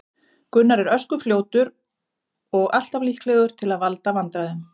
Gunnar er ösku fljótur og alltaf líklegur til að valda vandræðum.